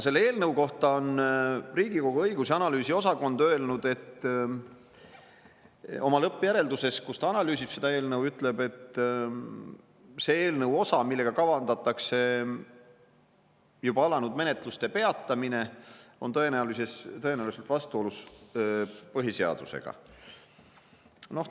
Selle eelnõu kohta on Riigikogu õigus- ja analüüsiosakond öelnud oma lõppjärelduses, kus ta analüüsib seda eelnõu, et see eelnõu osa, millega kavandatakse juba alanud menetluste peatamine, on tõenäoliselt vastuolus põhiseadusega.